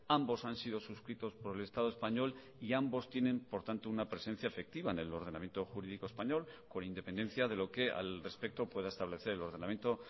ambos han sido suscritos por el estado español y ambos tienen por tanto una presencia efectiva en el ordenamiento jurídico español con independencia de lo que al respecto pueda establecer el ordenamiento